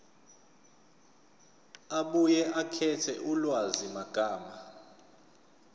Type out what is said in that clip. abuye akhethe ulwazimagama